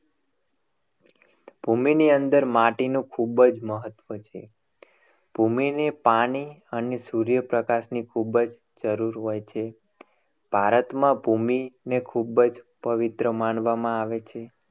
ભૂમિ ની અંદર માટીનું ખૂબ જ મહત્વ છે. ભૂમિને પાણી અને સૂર્યપ્રકાશની ખૂબ જ જરૂર હોય છે. ભારતમાં ભૂમિને ખૂબ જ પવિત્ર માનવામાં આવે છે.